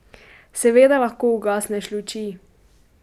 Seveda lahko ugasneš luči.